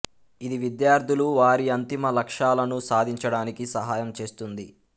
ఇది విద్యార్థులు వారి అంతిమ లక్ష్యాలను సాధించడానికి సహాయం చేస్తుంది